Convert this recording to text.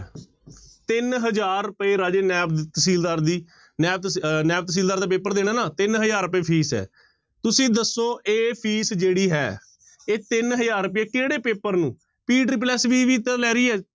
ਤਿੰਨ ਹਜ਼ਾਰ ਰੁਪਏ ਰਾਜੇ ਨੈਬ ਤਹਿਸੀਲਦਾਰ ਦੀ ਨੈਬ ਤ ਅਹ ਨੈਬ ਤਹਿਸੀਲਦਾਰ ਦਾ ਪੇਪਰ ਦੇਣਾ ਨਾ ਤਿੰਨ ਹਜ਼ਾਰ ਰੁਪਏ ਫੀਸ ਹੈ, ਤੁਸੀਂ ਦੱਸੋ ਇਹ ਫੀਸ ਜਿਹੜੀ ਹੈ ਇਹ ਤਿੰਨ ਹਜ਼ਾਰ ਰੁਪਏ ਕਿਹੜੇ ਪੇਪਰ ਨੂੰ ਤਾਂ ਲੈ ਰਹੀ ਹੈ,